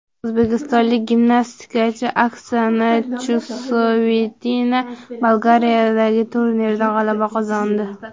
O‘zbekistonlik gimnastikachi Oksana Chusovitina Bolgariyadagi turnirda g‘alaba qozondi.